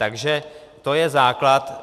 Takže to je základ.